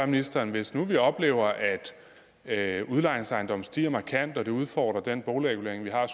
ministeren hvis nu vi oplever at udlejningsejendomme stiger markant og at det udfordrer den boligregulering vi har